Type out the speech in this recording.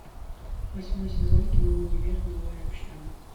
восьмой сезон кино универ новая общага